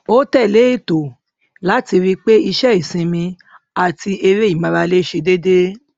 ó tẹlé ètò láti ri pé iṣẹ ìsinmi àti eré ìmárale ṣe dédé